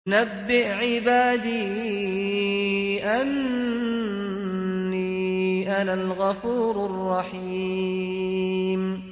۞ نَبِّئْ عِبَادِي أَنِّي أَنَا الْغَفُورُ الرَّحِيمُ